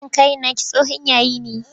Wannan kayan naki tsohon yayi ne.